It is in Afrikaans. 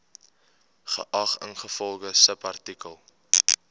geag ingevolge subartikel